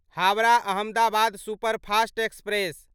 Howrah Ahmedabad superfast express